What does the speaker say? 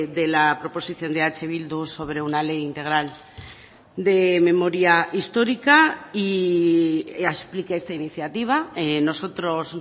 de la proposición de eh bildu sobre una ley integral de memoria histórica y expliqué esta iniciativa nosotros